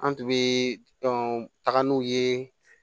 An tun bɛ taga n'u ye